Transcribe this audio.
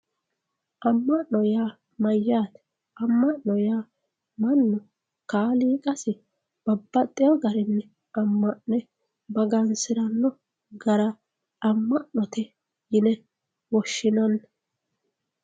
amma'no yaa mayyaate amma'no yaa mannu kaaliiqasi babbaxxewoo garinni amma'ne magansiranno gara amma'note yine woshshinanni.